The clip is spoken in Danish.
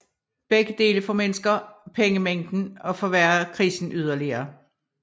Begge dele formindsker pengemængden og forværrer krisen yderligere